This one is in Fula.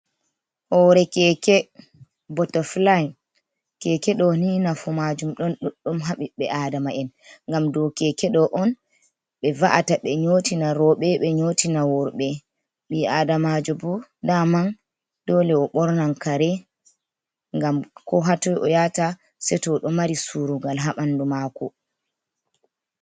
Hore keke bota flin keke ɗo ni nafu majum ɗon ɗuɗɗum. ha ɓiɓɓe adama'en, ngam dou keke ɗo on ɓe va’ata ɓe nyotina roɓɓe ɓe nyotina worɓɓe ɓii adamajo bo daman dole o ɓornan kare ngam ko hatoi o yata se to oɗo mari surugal ha ɓanɗu mako.